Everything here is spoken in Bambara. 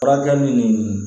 Furakɛli ni